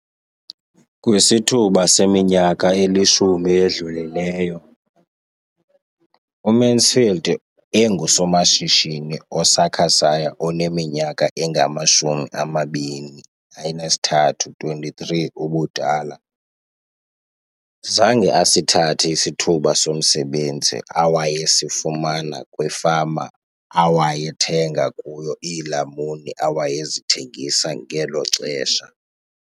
Kwisithuba seminyaka elishumi edlulileyo, uMansfield engusomashishini osakhasayo oneminyaka engama-23 ubudala, zange asithathe isithuba somsebenzi awayesifumana kwifama awayethenga kuyo iilamuni awayezithengisa ngelo xesha.